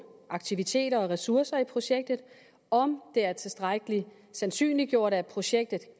aktiviteter og ressourcer i projektet om det er tilstrækkelig sandsynliggjort at projektet